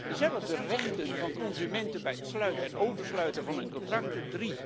dezelfde rechten voor consumenten bij het sluiten en oversluiten van een contract